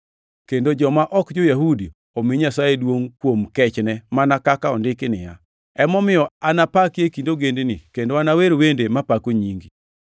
kendo joma ok jo-Yahudi omi Nyasaye duongʼ kuom kechne, mana kaka ondiki niya, “Emomiyo anapaki e kind ogendini, kendo anawer wende mapako nyingi.” + 15:9 \+xt 2Sam 22:50; Zab 18:49\+xt*